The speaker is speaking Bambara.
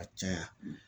A caya